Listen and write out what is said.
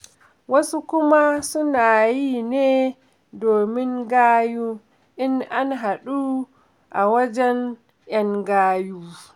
Wasu kuma suna yi ne domin gayu, in an haɗu a wajen 'yan gayu.